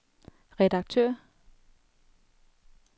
redaktør